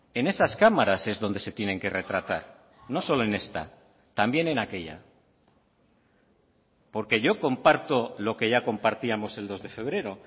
en esas cámaras es donde se tienen que retratar no solo en esta también en aquella porque yo comparto lo que ya compartíamos el dos de febrero